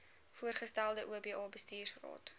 voorgestelde oba bestuursraad